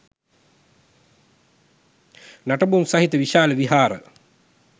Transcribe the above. නටබුන් සහිත විශාල විහාර